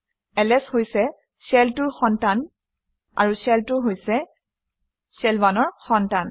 LS হৈছে shell 2 ৰ সন্তান আৰু শেল 2 হৈছে শেল 1 ৰ সন্তান